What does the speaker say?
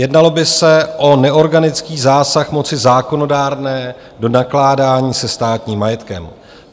Jednalo by se o neorganický zásah moci zákonodárné do nakládání se státním majetkem.